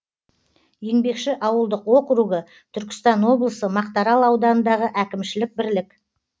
еңбекші ауылдық округі түркістан облысы мақтаарал ауданындағы әкімшілік бірлік